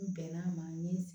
N bɛnn'a ma n ye